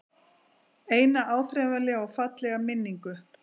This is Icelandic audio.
Eina áþreifanlega og fallega minningu.